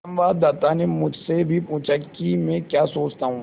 संवाददाता ने मुझसे भी पूछा कि मैं क्या सोचता हूँ